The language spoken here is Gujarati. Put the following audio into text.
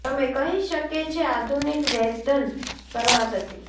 તમે કહી શકે છે આધુનિક વેધન શરૂઆત હતી